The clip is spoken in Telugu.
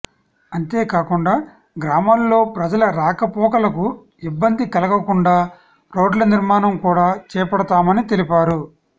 అంతే కాకుండా గ్రామాల్లో ప్రజల రాక పోకలకు ఇబ్బంది కలగకుండా రోడ్ల నిర్మాణం కూడా చేపడతామని తెలిపారు